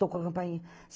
Tocou a campainha.